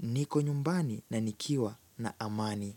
niko nyumbani na nikiwa na amani.